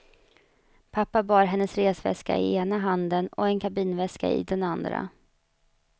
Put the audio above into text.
Pappa bar hennes resväska i ena handen och en kabinväska i den andra.